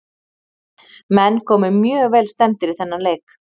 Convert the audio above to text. Menn komu mjög vel stemmdir í þennan leik.